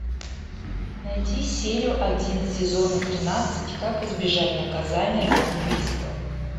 найти серию один сезона тринадцать как избежать наказания за убийство